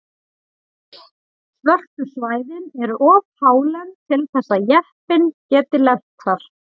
Svörtu svæðin eru of hálend til þess að jeppinn geti lent þar.